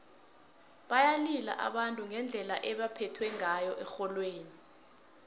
bayalila abantu ngendlela ebebaphethwe ngayo erholweni